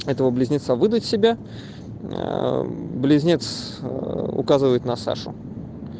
этого близнеца выдать себя близнец указывает на сашу